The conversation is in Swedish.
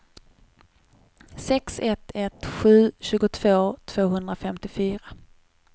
sex ett ett sju tjugotvå tvåhundrafemtiofyra